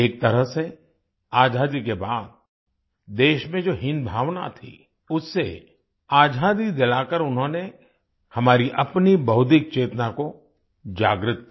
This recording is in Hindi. एक तरह से आजादी के बाद देश में जो हीनभावना थी उससे आजादी दिलाकर उन्होंने हमारी अपनी बौद्धिक चेतना को जागृत किया